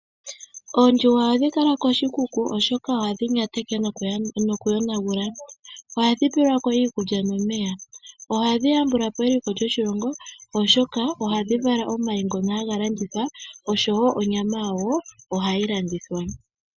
Oondjuhwa ohadhi kala koshikuku, oshoka ohadhi nyateke nokuyonagula. Ohadhi pelwa ko iikulya nomeya. Ohadhi yambula po eliko lyoshilongo, oshoka ohadhi vala omayi ngono haga landithwa osho wo onyama yawo ohayi landithwa.